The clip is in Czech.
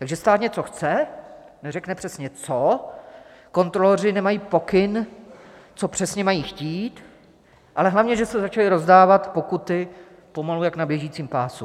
Takže stát něco chce, neřekne přesně co, kontroloři nemají pokyn, co přesně mají chtít, ale hlavně že se začaly rozdávat pokuty pomalu jako na běžícím pásu.